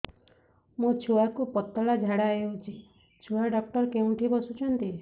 ମୋ ଛୁଆକୁ ପତଳା ଝାଡ଼ା ହେଉଛି ଛୁଆ ଡକ୍ଟର କେଉଁଠି ବସୁଛନ୍ତି